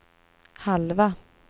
halva